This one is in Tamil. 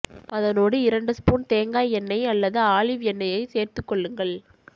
அதனோடு இரண்டு ஸ்பூன் தேங்காய் எண்ணெய் அல்லது ஆலிவ் எண்ணெயையை சேர்த்து கொள்ளுங்கள்